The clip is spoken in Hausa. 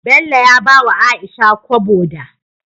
Bello ya bawa aisha kobo da